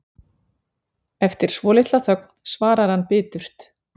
Eftir svolitla þögn svarar hann biturt